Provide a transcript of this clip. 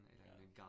Ja